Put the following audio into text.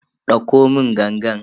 Dauko mun gangan.